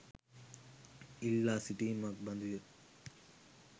ඉල්ලා සිටීමක් බඳු ය.